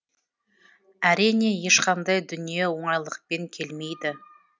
әрине ешқандай дүние оңайлықпен келмейді